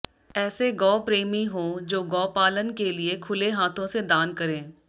ऐसे गौ प्रेमी हों जो गौपालन के लिए खुले हाथों से दान करें